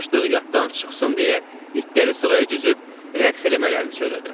Aclıq yaddan çıxsın deyə, itləri sıraya düzüb rəqs eləmələrini söylədim.